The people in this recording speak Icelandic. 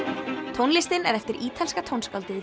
tónlistin er eftir ítalska tónskáldið